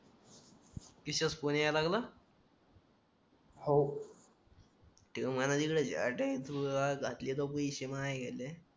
त्रिशाचा phone येयायला लागला हो